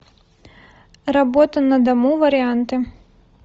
работа на дому варианты